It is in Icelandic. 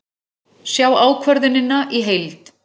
Sjá ákvörðunina í heild